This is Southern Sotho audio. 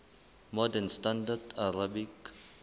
modern standard arabic